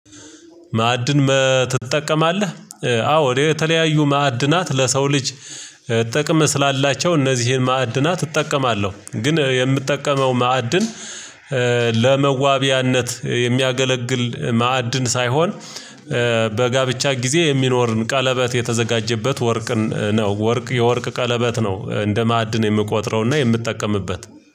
ማዕድን ትጠቀማለህ? አዎ እኔ የተለያዩ ማዕድናት ለሰው ልጅ ጥቀም ስላላቸው እነዚህን ማዕድናት እጠቀማለሁ። ግን የምትጠቀመው ማዕድን ለመዋቢያነት የሚያገለግል ማዕድን ሳይሆን፤ በጋብቻ ጊዜ የሚኖርን ቀለበት የተዘጋጀበት ወርቅን ነው። ወርቅ የወርቅ ቀለበት ነው እንደ ማዕድን የምቆጥረውና የምትጠቀምበት።